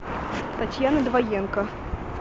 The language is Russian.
татьяна двоенко